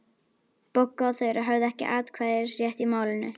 Bogga og Þura höfðu ekki atkvæðisrétt í málinu.